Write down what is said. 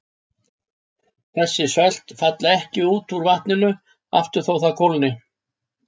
Þessi sölt falla ekki út úr vatninu aftur þótt það kólni.